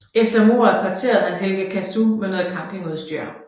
Efter mordet parterede han Helga Casu med noget campingudstyr